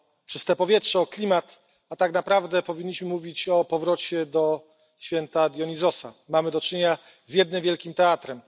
czyste powietrze, o klimat, a tak naprawdę powinniśmy mówić o powrocie do święta Dionizosa. Mamy do czynienia z jednym wielkim teatrem.